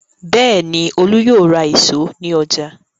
Bẹ́ẹ̀ ni, Olú yóò ra ìṣó ní ọjà.